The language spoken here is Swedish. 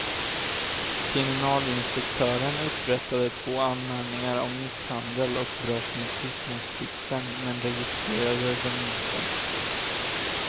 Kriminalinspektören upprättade två anmälningar om misshandel och brott mot tystnadsplikten men registrerade dem inte.